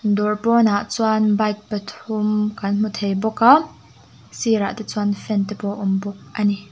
dawr pawnah chuan bike pathum kan hmu thei bawk a sir ah te chuan fan te pawh a awm bawk a ni.